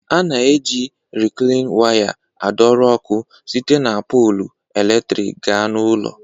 A na-eji Riklain waya adọrọ ọkụ site na polụ eletrik gaa n'ụlọ